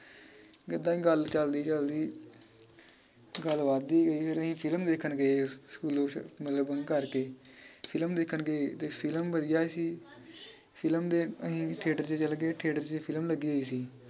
ਏਦਾਂ ਈ ਗੱਲ ਚੱਲਦੀ ਚੱਲਦੀ ਗੱਲ ਵਧਦੀ ਗਈ ਅਹੀਂ ਫਿਲਮ ਦੇਖਣ ਗਏ ਸਕੂਲੋਂ ਸ਼ ਮਤਲਬ bunk ਕਰਕੇ। ਫਿਲਮ ਦੇਖਣ ਗਏ ਤੇ ਫਿਲਮ ਵਧੀਆ ਸੀ ਫਿਲਮ ਦੇ ਅਮ theatre ਚ ਚਲਗੇ theatre ਚ ਫਿਲਮ ਲੱਗੀ ਹੋਈ ਸੀ।